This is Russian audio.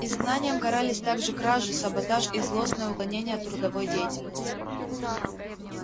изгнанием карались также кражи саботаж и злостное уклонение от трудовой деятельности